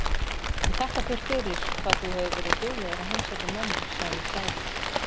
Ég þakka þér fyrir hvað þú hefur verið duglegur að heimsækja mömmu, sagði Særún.